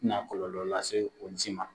A te na kɔlɔlɔ lase olu si ma.